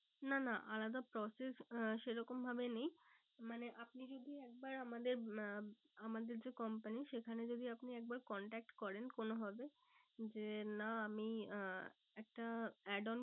না না আলাদা process আহ সেরকম ভাবে নেই। মানে আপনি যদি একবার আমাদের আহ আমাদের যে company সেখানে যদি আপনি একবার contract করেন কোনো ভাবে যে না আমি আহ একটা add on